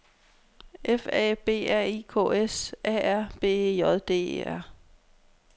F A B R I K S A R B E J D E R